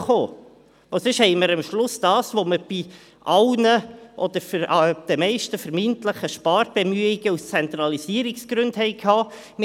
Denn sonst haben wir das gleiche Ergebnis, wie es bei den meisten vermeintlichen Sparbemühungen aus Zentralisierungsgründen der Fall war.